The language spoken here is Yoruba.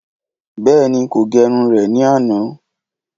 Bèéní, ko gerun rè ní àná